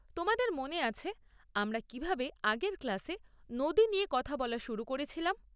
তোমাদের মনে আছে আমরা কীভাবে আগের ক্লাসে নদী নিয়ে কথা বলা শুরু করেছিলাম?